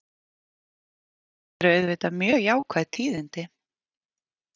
Þetta eru auðvitað mjög jákvæð tíðindi